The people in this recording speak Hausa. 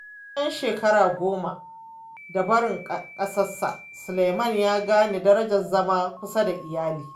Bayan shekara goma da barin kasarsa, Suleman ya gane darajar zama kusa da iyali.